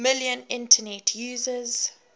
million internet users